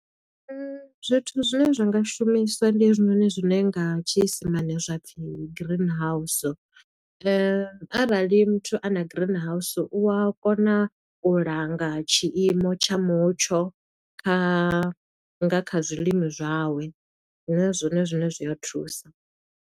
Zwithu zwine zwa nga shumiswa ndi hezwinoni zwine nga tshiisimane zwa pfi green house. Arali muthu a na green house, u a kona u langa tshiimo tsha mutsho kha nga kha zwilimi zwawe, zwine zwone zwine zwi a thusa.